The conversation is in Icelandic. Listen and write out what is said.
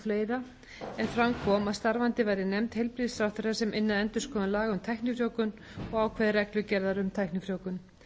fleiri en fram kom að starfandi væri nefnd heilbrigðisráðherra sem ynni að endurskoðun laga um tæknifrjóvgun og ákvæði reglugerðar um tæknifrjóvgun